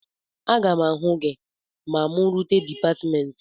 Aga m ahụ gị ma mụ rute dịpatmentị